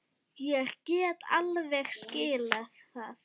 Ég get alveg skilið það.